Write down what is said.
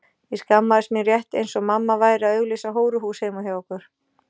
Ég skammaðist mín rétt eins og mamma væri að auglýsa hóruhús heima hjá okkur.